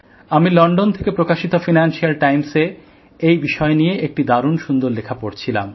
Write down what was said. আমি লন্ডন থেকে প্রকাশিত ফিন্যান্সিয়াল টাইমসএ এই বিষয় নিয়ে একটি দারুন সুন্দর লেখা পড়ছিলাম